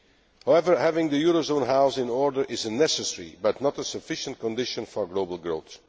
However, having the eurozone house in order is a necessary, but not a sufficient, condition for global growth.